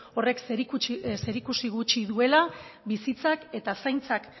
horrek zerikusi gutxi duela bizitzak eta